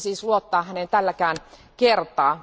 Miksi siis luottaa häneen tälläkään kertaa?